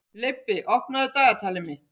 Leibbi, opnaðu dagatalið mitt.